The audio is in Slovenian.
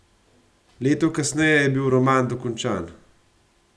Leto kasneje je bil roman dokončan.